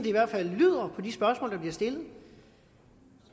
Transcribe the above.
i hvert fald lyder på de spørgsmål der bliver stillet